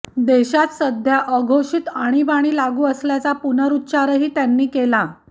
देशात सध्या अघोषित आणीबाणी लागू असल्याचा पुनरुच्चारही त्यांनी केला